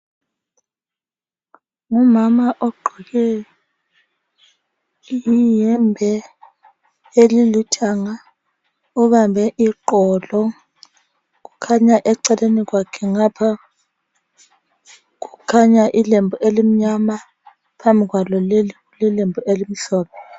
Ngumama ogqoke iyembe elilithanga ubambe iqolo kukhanya eceleni kwakhe ngapha kukhanya ilembu elimnyama phambi kwalo lililembu elimhlophe.